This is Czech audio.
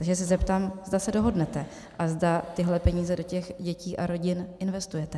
Takže se zeptám, zda se dohodnete a zda tyhle peníze do těch dětí a rodin investujete.